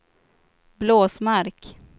Blåsmark